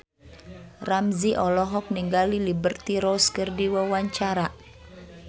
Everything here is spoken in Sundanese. Ramzy olohok ningali Liberty Ross keur diwawancara